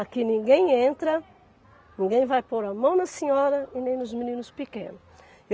Aqui ninguém entra, ninguém vai pôr a mão na senhora e nem nos meninos pequenos.